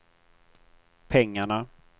pengarna